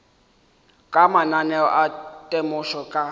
ka mananeo a temošo ka